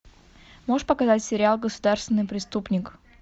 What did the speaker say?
можешь показать сериал государственный преступник